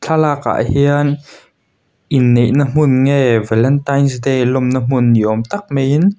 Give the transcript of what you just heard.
thlalakah hian inneih na hmun nge valentine's day lawmna hmun ni awm tak mai in.